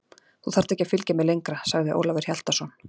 Þú þarft ekki að fylgja mér lengra, sagði Ólafur Hjaltason.